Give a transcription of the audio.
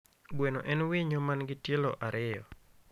Gweno en winyo man gi tielo ariyo